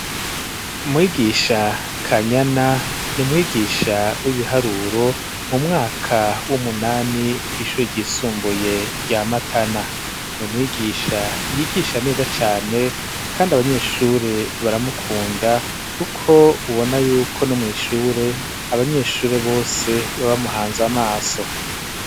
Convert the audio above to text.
Mwigisha kanyana ni mwigisha w'ibiharuro mu mwaka w'umunani kw'ishure ryisumbuye rya matana ni umwigisha yigisha neza cane kandi abanyeshure baramukunda kuko ubona yuko no mw'ishure abanyeshure bose babamuhanze amaso.